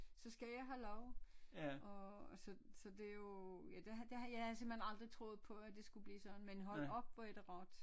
Så skal jeg have lov og så så det er jo ja det havde det havde jeg havde simpelthen aldrig troet på at det skulle blive sådan men hold op hvor er det rart